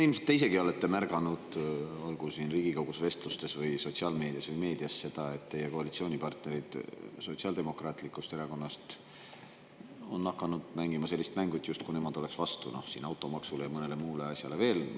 Ilmselt te olete ise ka märganud, olgu siin Riigikogus, vestlustes, sotsiaalmeedias või meedias, et teie koalitsioonipartnerid Sotsiaaldemokraatlikust Erakonnast on hakanud mängima mängu, justkui nemad oleksid automaksu ja veel mõne muu asja vastu.